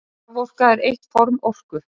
Raforka er eitt form orku.